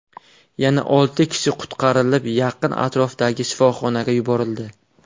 Yana olti kishi qutqarilib, yaqin atrofdagi shifoxonaga yuborildi.